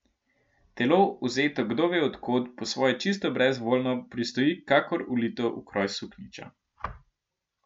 Telo, vzeto kdove od kod, po svoje čisto brezvoljno, pristoji kakor ulito v kroj suknjiča.